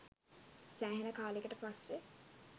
සෑහෙන කාලෙකට පස්සේ